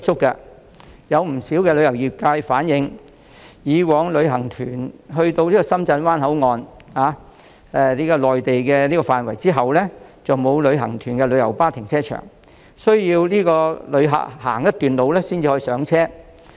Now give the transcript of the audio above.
不少旅遊業界人士曾經反映，以往深圳灣口岸的內地範圍並沒有提供讓旅行團使用的旅遊巴停車場，旅客需要步行一段路程才可上車。